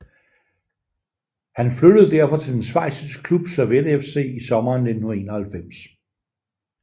Han flyttede derfor til den schweiziske klub Servette FC i sommeren 1991